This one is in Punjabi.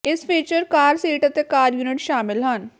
ਇਸ ਫੀਚਰ ਕਾਰ ਸੀਟ ਅਤੇ ਸੀਟ ਯੂਨਿਟ ਸ਼ਾਮਲ ਹਨ